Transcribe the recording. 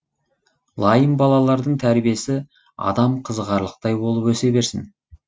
лайым балалардың тәрбиесі адам қызығарлықтай болып өсе берсін